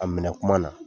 A minɛ kuma na